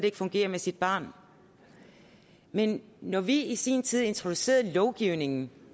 ikke fungerer med sit barn men når vi i sin tid introducerede lovgivningen